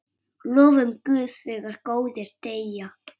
Lofum Guð þegar góðir deyja.